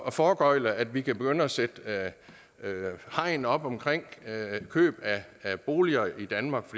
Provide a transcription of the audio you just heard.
at foregøgle at vi kan begynde at sætte hegn op omkring køb af boliger i danmark